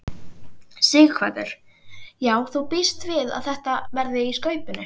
Sighvatur: Já þú bíst við að þetta verði í skaupinu?